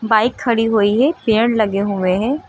Bike खड़ी हुई है पेड़ लगे हुए हैं।